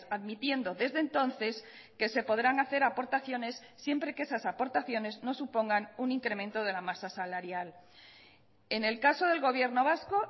admitiendo desde entonces que se podrán hacer aportaciones siempre que esas aportaciones no supongan un incremento de la masa salarial en el caso del gobierno vasco